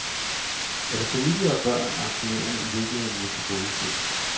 Er det familie og børn, aktionærerne i virkeligheden vil tilgodese.